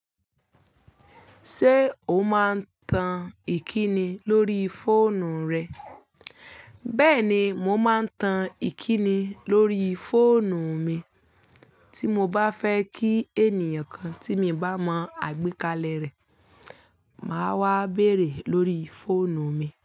Ṣé o máa ń tan ìkíni lórí fóònù rẹ? Bẹ́ẹ̀ni, mo máa ń tan ìkíni lórí fóònù mi tí mo bá fẹ́ kí ènìyàn kan tí mi bá mọ àgbékalẹ̀ rẹ̀, màá wá béèrè lórí fóònù mi.